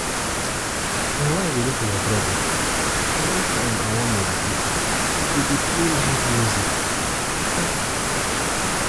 My wife dey look for my trouble. Any time I wan meditate she go dey play loud music